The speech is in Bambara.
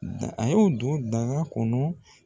Nka a y'o don baga kɔnɔ